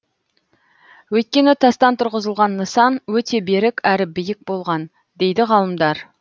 өйткені тастан тұрғызылған нысан өте берік әрі биік болған дейді ғалымдар